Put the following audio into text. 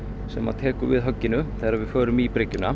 sem tekur við högginu þegar við förum í bryggjuna